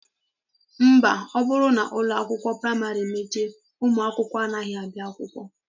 Mba, ọ bụrụ na ụlọ akwụkwọ praịmarị mechie, ụmụ akwụkwọ anaghị abịa akwụkwọ